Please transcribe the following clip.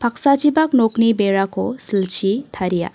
paksachipak nokni berako silchi taria.